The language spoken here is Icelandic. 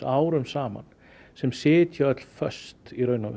árum saman sem sitja öll föst